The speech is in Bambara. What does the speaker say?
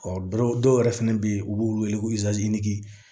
dɔw yɛrɛ fɛnɛ bɛ ye u b'u wele ko